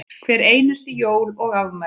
Hver einustu jól og afmæli.